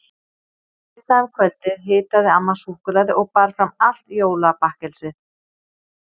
Seinna um kvöldið hitaði amma súkkulaði og bar fram allt jólabakkelsið.